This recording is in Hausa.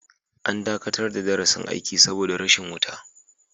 An dakatar da darasin aiki saboda rashin wuta.